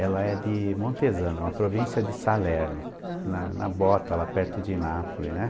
Ela é de Montesano, uma província de Salerno, uhum, na na Bota, lá perto de Nápoles, né?